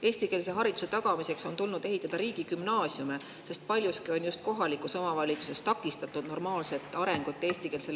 Eestikeelse hariduse tagamiseks on tulnud ehitada riigigümnaasiume, sest paljuski on just kohalikus omavalitsuses takistatud eestikeelsele õppele ülemineku normaalset arengut.